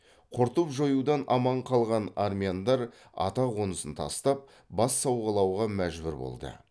құртып жоюдан аман қалған армяндар атақонысын тастап бас сауғалауға мәжбүр болды